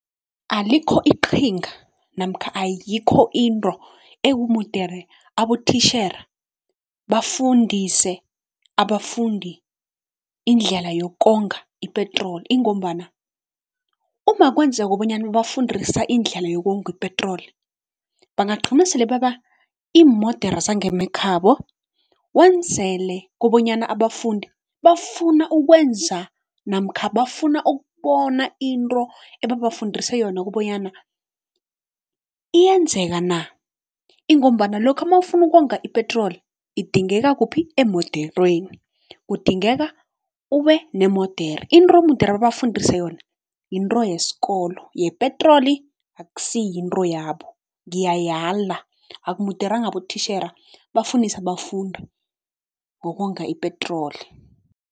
Alikho iqhinga namkha ayikho into ekumudere abotishera bafundise abafundi indlela yokonga ipetroli. Ingombana uma kwenzeka bonyana bafundisa indlela yokonga ipetroli bangagqina sele beba iimodere zangemakhabo, wenzele kobonyana abafundi bafuna ukwenza namkha bafuna ukubona into ebabafundisa yona kobonyana iyenzeka na. Ingombana lokha mawufuna ukonga ipetroli idingeka kuphi emoderweni, kudingeka ube nemodere into mudere babafundise yona yinto yesikolo, yepetroli akusi yinto yabo ngiyayala akumuderanga abotishera bafundise abafundi ngokonga ipetroli.